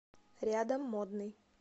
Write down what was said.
рядом модный